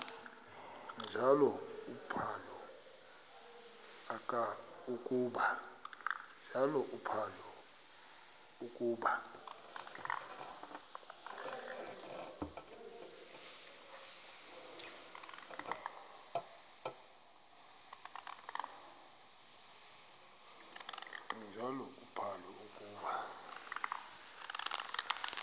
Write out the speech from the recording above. njalo uphalo akuba